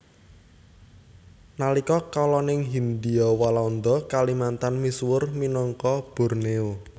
Nalika kalaning Hindia Walanda Kalimantan misuwur minangka Bornéo